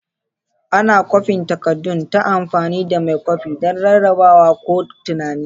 Ana kwafin takaddun ta amfani da mai kwafi don rarrabawa ko tunani.